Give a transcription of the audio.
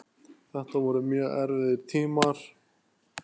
Þetta voru mjög erfiðir tímar.